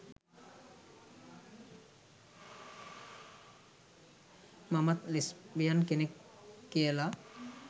මමත් ලෙස්බියන් කෙනෙක්" කියලා